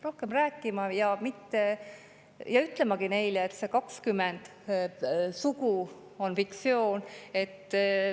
Rohkem rääkima ja ütlemagi neile, et 20 sugu on fiktsioon.